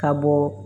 Ka bɔ